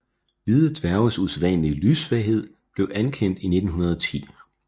Hvide dværges usædvanlige lyssvaghed blev anerkendt i 1910